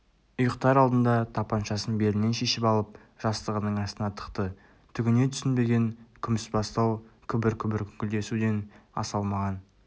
ұйықтар алдында тапаншасын белінен шешіп алып жастығының астына тықты түгіне түсінбеген күмісбастау күбір-күбір күңкілдесуден аса алмаған